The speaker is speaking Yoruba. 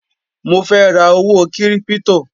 Mo fẹ́ ra owó kírípítò